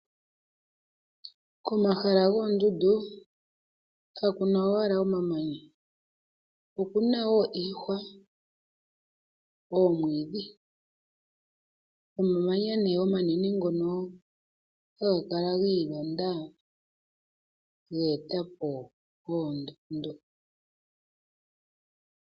Komahala goondundu kakuna owala omamanya okuna wo iihwa, oomwiidhi nomamanya wo ngoka omanene haga kala gi ilonda geeta po oondundu.